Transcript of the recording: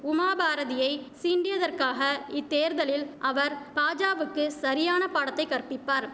உமாபாரதியை சீண்டியதற்காக இத்தேர்தலில் அவர் பாஜாவுக்கு சரியான பாடத்தைக் கற்பிப்பார்